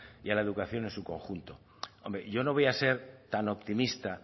y a la educación en su conjunto hombre yo no voy a ser tan optimista